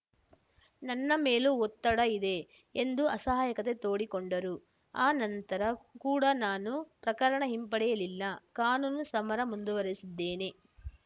ನನ್ನ ಮೇಲೂ ಒತ್ತಡ ಇದೆ ಎಂದು ಅಸಹಾಯಕತೆ ತೋಡಿಕೊಂಡರು ಆ ನಂತರ ಕೂಡ ನಾನು ಪ್ರಕರಣ ಹಿಂಪಡೆಯಲಿಲ್ಲ ಕಾನೂನು ಸಮರ ಮುಂದುವರೆಸಿದ್ದೇನೆ